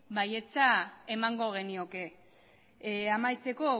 baietza emango genioke amaitzeko